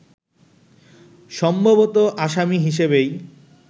সম্ভবত আসামি হিসেবেই